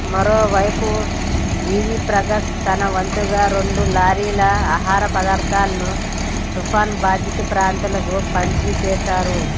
మరోవైపు జీవి ప్రకాష్ తనవంతుగా రెండు లారీల ఆహార పదార్థాలను తుఫాను బాధిత ప్రాంతాలకు పంపిణి చేశారు